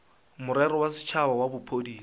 morero wa setšhaba wa bophodisa